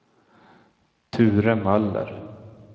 Ture Möller